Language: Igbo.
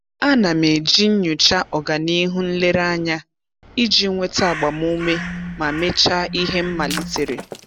A na m eji nnyocha ọganihu nlereanya iji nweta agbamuume ma mechaa ihe m malitere.